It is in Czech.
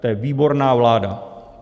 To je výborná vláda!